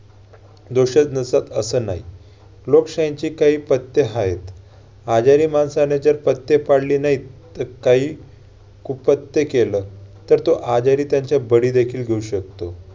दोषच नसतं असं नाही. लोकशाहीचे काही पथ्य आहेत. आजारी माणसाने जर पथ्य पाळले नाहीत तर काही कुपथ्य केलं तर तो आजारी त्याचा बळी देखील घेऊ शकतो.